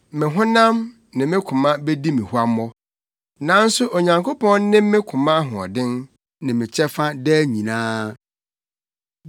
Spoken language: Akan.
Me honam, ne me koma bedi me huammɔ, nanso Onyankopɔn ne me koma ahoɔden ne me kyɛfa daa nyinaa.